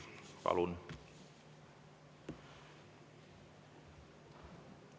Palun!